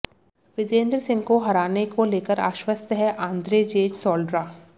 विजेन्दर सिंह को हराने को लेकर आश्वस्त हैं आंद्रेजेज सोल्ड्रा